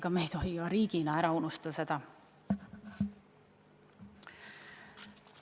Ja me ei tohi ka riigina seda ära unustada.